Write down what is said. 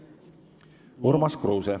Urmas Kruuse.